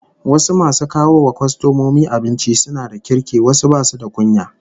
Wasu masu kawo wa kwastomomi abinci suna da kirki wasu basu da kunya